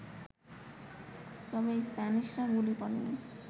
তবে স্প্যানিশরা গুলি করেনি